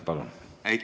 Palun!